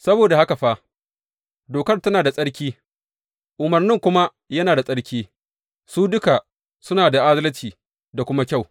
Saboda haka fa, dokar tana da tsarki, umarnin kuma yana da tsarki, su duka suna da adalci da kuma kyau.